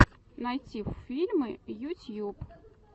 найти фильмы ютьюб